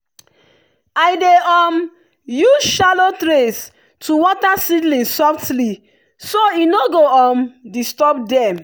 i dey um use shallow trays to water seedlings softly so e no go um disturb dem.